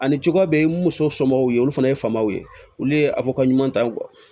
Ani cogoya bɛɛ ni muso somɔgɔw ye olu fana ye faamaw ye olu ye a fɔkaɲita